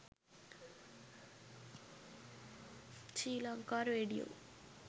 sri lanka radio